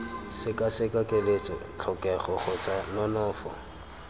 sekaseka keletso tlhokego kgotsa nonofo